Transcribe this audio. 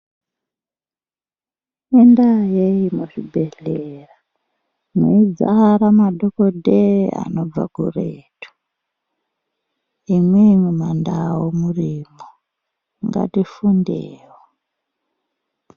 Ngendaa yei muzvibhedhlera meidzara madhokodheyaa anobva kuretu imwimwi mandau murimwo, ngatifundewo.